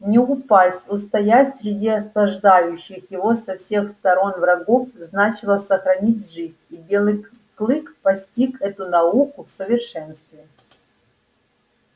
не упасть устоять среди осаждающих его со всех сторон врагов значило сохранить жизнь и белый клык постиг эту науку в совершенстве